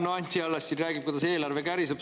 No Anti Allas siin räägib, kuidas eelarve käriseb.